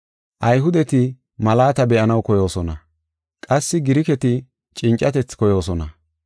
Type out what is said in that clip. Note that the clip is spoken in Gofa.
Ayhudeti malaata be7anaw koyoosona; qassi Giriketi cincatethi koyoosona.